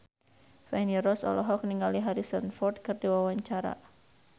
Feni Rose olohok ningali Harrison Ford keur diwawancara